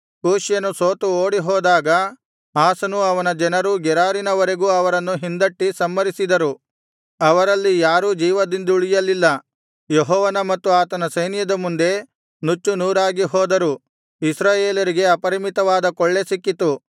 ಕೂಷ್ಯರು ಸೋತು ಓಡಿಹೋದಾಗ ಆಸನೂ ಅವನ ಜನರೂ ಗೆರಾರಿನವರೆಗೂ ಅವರನ್ನು ಹಿಂದಟ್ಟಿ ಸಂಹರಿಸಿದರು ಅವರಲ್ಲಿ ಯಾರೂ ಜೀವದಿಂದುಳಿಯಲಿಲ್ಲ ಯೆಹೋವನ ಮತ್ತು ಆತನ ಸೈನ್ಯದ ಮುಂದೆ ನುಚ್ಚು ನೂರಾಗಿ ಹೋದರು ಇಸ್ರಾಯೇಲರಿಗೆ ಅಪರಿಮಿತವಾದ ಕೊಳ್ಳೆ ಸಿಕ್ಕಿತು